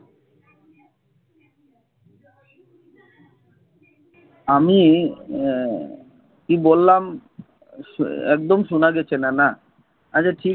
আমি আহ কি বললাম একদম শোনা যাচ্ছে না না? আচ্ছা ঠিক আছে।